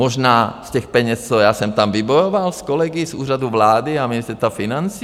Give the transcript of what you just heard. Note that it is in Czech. Možná z těch peněz, co já jsem tam vybojoval s kolegy z Úřadu vlády a Ministerstva financí?